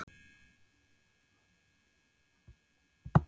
Kristján Már: Þú heldur þig við veginn?